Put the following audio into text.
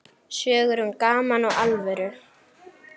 Sögur um gaman og alvöru.